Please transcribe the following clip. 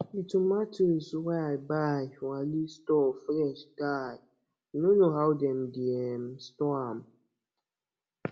the tomatoes wey i buy for ali store fresh die i no know how dem dey um store am